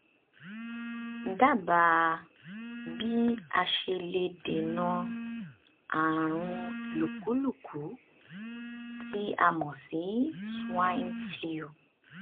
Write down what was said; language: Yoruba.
dábàá bí a ṣe lè dènà ààrùn lùkúlùkú tí a mọ̀ sí swine flu